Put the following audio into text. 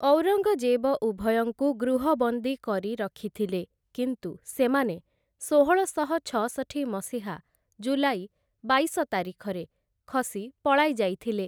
ଔରଙ୍ଗ୍‌ଜେବ ଉଭୟଙ୍କୁ ଗୃହବନ୍ଦୀ କରି ରଖିଥିଲେ, କିନ୍ତୁ ସେମାନେ ଷୋହଳଶହ ଛଅଷଠି ମସିହା, ଜୁଲାଇ ବାଇଶ ତାରିଖରେ ଖସି ପଳାଇ ଯାଇଥିଲେ ।